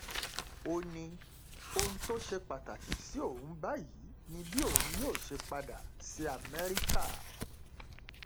ó ní ohun tó ṣe pàtàkì sí òun báyìí ni bí òun yóò ṣe padà sí amẹríkà